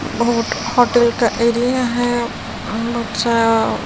बहुत खतरे का एरिया है बच्चा--